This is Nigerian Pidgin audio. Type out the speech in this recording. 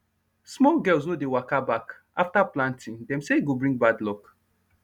small girls no dey waka back after planting dem say e go bring bad luck